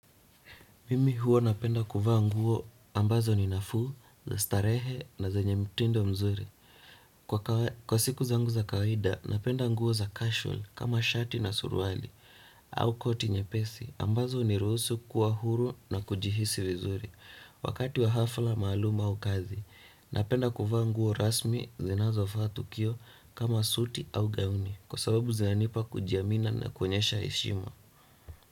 Mimi huwa napenda kuvaa nguo ambazo ni nafuu, starehe na zenyw mtindo mzuri. Kwa siku zangu za kawida, napenda nguo za casual kama shati na suruali au koti nyepesi. Ambazo huniruhusu kuwa huru na kujihisi vizuri. Wakati wa hafla maaluma au kazi, napenda kuvaa nguo rasmi zinazo faa tukio kama suti au gauni. Kwa sababu zananipa kujiamina na kuonyesha heshima.